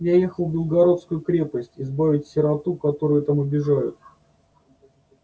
я ехал в белогорскую крепость избавить сироту которую там обижают